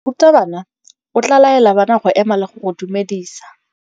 Morutabana o tla laela bana go ema le go go dumedisa.